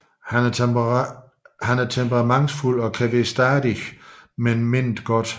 Han er temperamentsfuld og kan være stadig men mener det godt